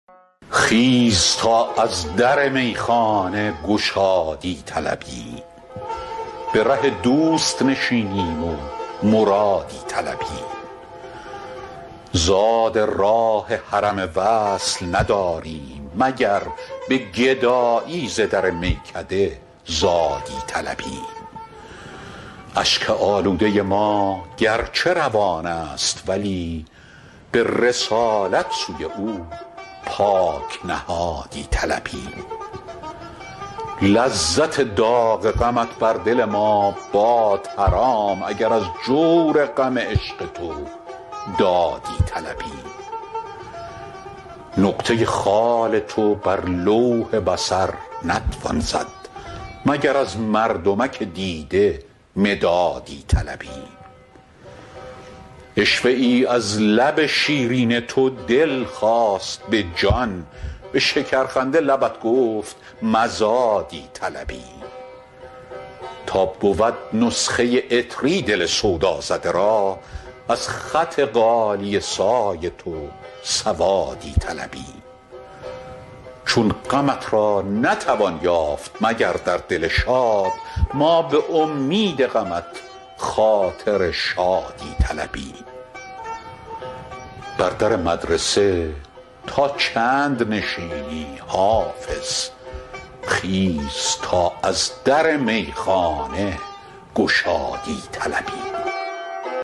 خیز تا از در میخانه گشادی طلبیم به ره دوست نشینیم و مرادی طلبیم زاد راه حرم وصل نداریم مگر به گدایی ز در میکده زادی طلبیم اشک آلوده ما گرچه روان است ولی به رسالت سوی او پاک نهادی طلبیم لذت داغ غمت بر دل ما باد حرام اگر از جور غم عشق تو دادی طلبیم نقطه خال تو بر لوح بصر نتوان زد مگر از مردمک دیده مدادی طلبیم عشوه ای از لب شیرین تو دل خواست به جان به شکرخنده لبت گفت مزادی طلبیم تا بود نسخه عطری دل سودازده را از خط غالیه سای تو سوادی طلبیم چون غمت را نتوان یافت مگر در دل شاد ما به امید غمت خاطر شادی طلبیم بر در مدرسه تا چند نشینی حافظ خیز تا از در میخانه گشادی طلبیم